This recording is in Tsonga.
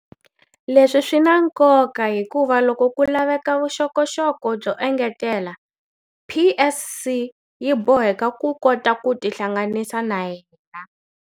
Leswi swi na nkoka hikuva loko ku laveka vuxokoxoko byo engetela, PSC yi boheka ku kota ku tihlanganisa na yena.